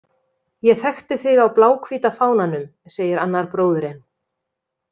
Ég þekkti þig á bláhvíta fánanum, segir annar bróðirinn.